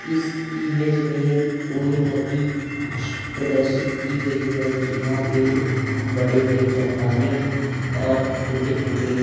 इस इमेज में कोई नदी प्रदर्शित की गई है जहां पे बड़े-बड़े चट्टाने और छोटे-छोटे --